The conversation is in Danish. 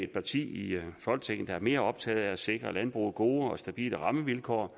parti i folketinget der er mere optaget af at sikre landbruget gode og stabile rammevilkår